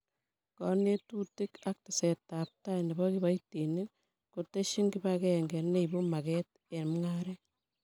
Konetutik ak tesetab tai nebo kibaitinik koteshin kibakenge neibu maget eng' mung'aret